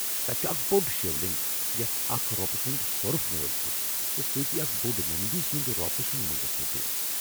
تتہ چُھ اکھ بو٘ڈ شِو لِنٛگ یتھ اكھ رو٘پہٕ سُند سوٗرف نٲلہِ چُھ ، تہٕ سۭتۍ اكھ بوڈ نندی سُند روپہٕ سُند مُجسمہٕ تہِ ۔